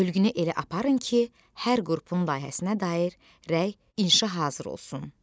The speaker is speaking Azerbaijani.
Bölünə elə aparın ki, hər qrupun layihəsinə dair rəy inşah hazır olsun.